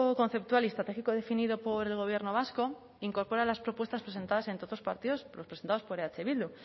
conceptual y estratégico definido por el gobierno vasco incorpora las propuestas presentadas entre otros partidos los presentados por eh bildu